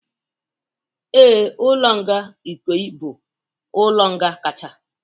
Ee, ụlọ nga Ikoyi bụ ụlọ nga nkacha